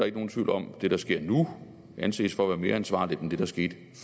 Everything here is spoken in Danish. ikke nogen tvivl om det der sker nu anses for at være mere ansvarligt end det der skete